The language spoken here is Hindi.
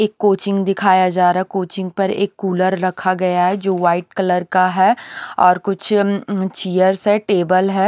एक कोचिंग दिखाया जा रहा कोचिंग पर एक कूलर रखा गया है जो वाइट कलर का है और कुछ चीयर्स हैं टेबल है।